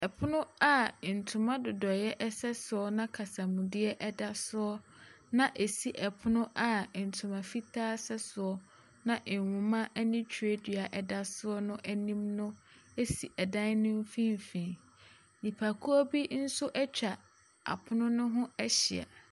Ɛpono a ntoma dodoe ɛsɛ soɔ na kasamudeɛ ɛda soɔ na esi ɛpono a ntoma fitaa ɛsɛ soɔ na nhoma ɛne twerɛdua ɛda soɔ n'anim no esi ɛdan no mfinfinn. Nnipakuo bi nso atwa apono no ho ahyia.